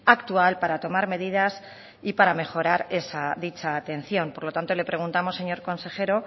actual para tomar medidas y para mejorar dicha atención por lo tanto le preguntamos señor consejero